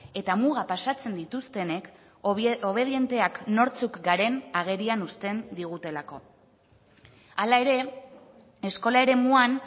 eta muga pasatzen dituztenek obedienteak nortzuk garen agerian uzten digutelako hala ere eskola eremuan